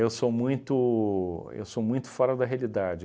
sou muito eu sou muito fora da realidade.